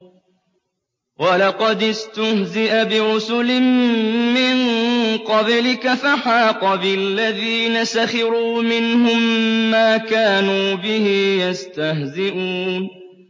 وَلَقَدِ اسْتُهْزِئَ بِرُسُلٍ مِّن قَبْلِكَ فَحَاقَ بِالَّذِينَ سَخِرُوا مِنْهُم مَّا كَانُوا بِهِ يَسْتَهْزِئُونَ